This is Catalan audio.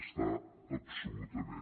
està absolutament